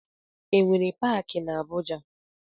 E nwere paaki na Abuja?